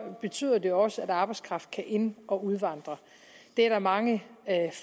betyder det også at arbejdskraft kan ind og udvandre det er der mange